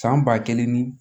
San ba kelen ni